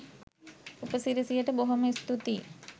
උපසිරැසියට බොහොම ස්තූතියි